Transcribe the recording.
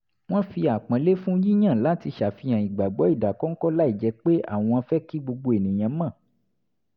wọ́n fi àpọ́nlé fún yíyàn láti ṣàfihàn ìgbàgbọ́ ìdákọ́ńkọ́ láìjẹ́ pé àwọn fẹ́ kí gbogbo ènìyàn mọ̀